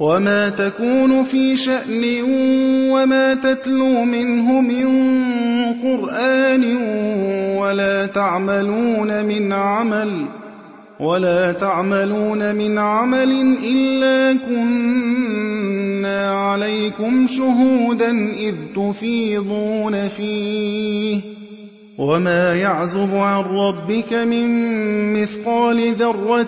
وَمَا تَكُونُ فِي شَأْنٍ وَمَا تَتْلُو مِنْهُ مِن قُرْآنٍ وَلَا تَعْمَلُونَ مِنْ عَمَلٍ إِلَّا كُنَّا عَلَيْكُمْ شُهُودًا إِذْ تُفِيضُونَ فِيهِ ۚ وَمَا يَعْزُبُ عَن رَّبِّكَ مِن مِّثْقَالِ ذَرَّةٍ